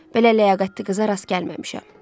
Belə ləyaqətli qıza rast gəlməmişəm.